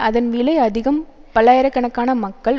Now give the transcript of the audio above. அதன் விலை அதிகம் பல்லாயிர கணக்கான மக்கள்